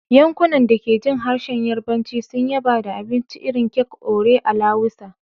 Yankunan da ke jin harshen Yarbanci sun yaba da abincin irin kek "Ore alawusa,"